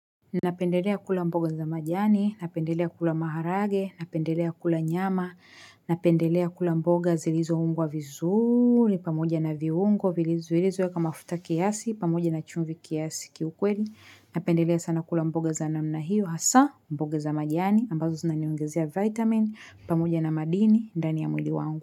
Napendelea kula mboga za majani napendelea kula maharage napendelea kula nyama napendelea kula mboga zilizo ungwa vizuri, pamoja na viungo, zilizoekwa mafuta kiasi pamoja na chumvi kiasi kiukweli napendelea sana kula mboga za namna hiyo hasa mboga za majani, ambazo zinani ongezea vitamin, pamoja na madini, ndani ya mwili wangu.